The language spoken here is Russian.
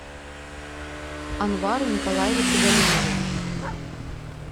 анвару николаевичу галимову